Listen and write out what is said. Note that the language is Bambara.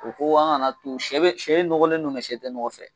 O ko an kan'a to sɛ be sɛ in ɲɔgɔlen do mɛ sɛ te ɲɔgɔ fɛ